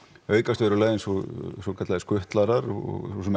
aukast verulega eins og svokallaðir skutlarar og